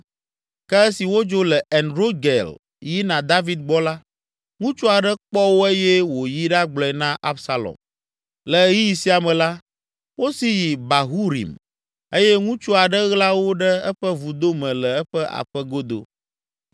Ke esi wodzo le En Rogel yina David gbɔ la, ŋutsu aɖe kpɔ wo eye wòyi ɖagblɔe na Absalom. Le ɣeyiɣi sia me la, wosi yi Bahurim eye ŋutsu aɖe ɣla wo ɖe eƒe vudo me le eƒe aƒe godo.